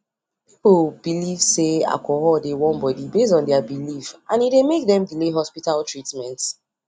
people belief say alcohol dey warm body based on their belief and e dey make dem delay hospital treatment